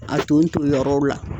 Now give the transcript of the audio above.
A ton ton yɔrɔw la.